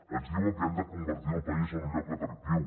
ens diuen que hem de convertir el país en un lloc atractiu